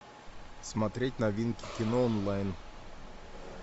смотреть новинки кино онлайн